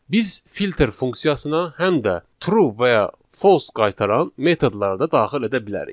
Biz filter funksiyasına həm də true və ya false qaytaran metodları da daxil edə bilərik.